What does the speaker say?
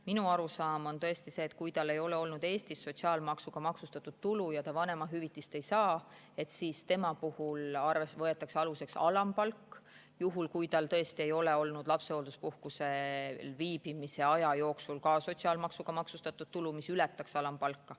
Minu arusaam on tõesti see, et kui tal ei ole olnud Eestis sotsiaalmaksuga maksustatud tulu ja ta vanemahüvitist ei saa, siis tema puhul võetakse aluseks alampalk, juhul kui tal tõesti ei ole olnud lapsehoolduspuhkusel viibimise aja jooksul ka sotsiaalmaksuga maksustatud tulu, mis ületaks alampalka.